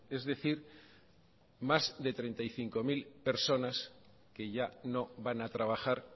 es decir más de treinta y cinco mil personas que ya no van a trabajar